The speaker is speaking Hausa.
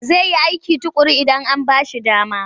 Zai yi aiki tuƙuru idan an ba shi dama.